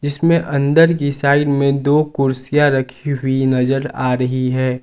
इसमें अंदर की साइड में दो कुर्सियां रखी हुई नजर आ रही है।